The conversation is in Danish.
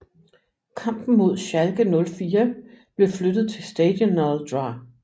Kampen mod Schalke 04 blev flyttet til Stadionul Dr